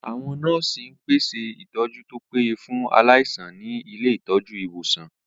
Àwọn nọ́ọ̀sì ń pèsè ìtọ́jú tó péye fún aláìsàn ní ilé ìtọ́jú/ ìwòsàn